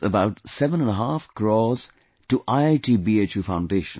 about seven and a half crores to IIT BHU Foundation